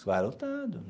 Vai lotado.